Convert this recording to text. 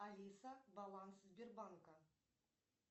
алиса баланс сбербанка